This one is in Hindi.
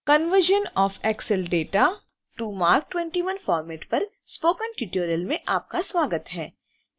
conversion of excel data to marc 21 format पर स्पोकन ट्यूटोरियल में आपका स्वागत है